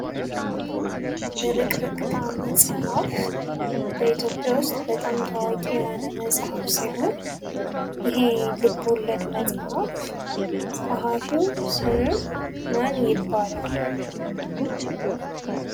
ብርቅርቅታ መጽሀፍ በኢትዮጵያ ውስጥ በጣም ታዋቂ የሆነ መጽሐፍ ሲሆን፤ ይሄ ልቦለድ መጽሐፍ ጸሐፊው ስሙ ማን ይባላል?